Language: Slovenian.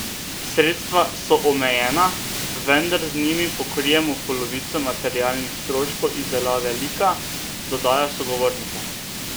Sredstva so omejena, vendar z njimi pokrijemo polovico materialnih stroškov izdelave lika, dodaja sogovornica.